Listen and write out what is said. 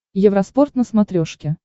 евроспорт на смотрешке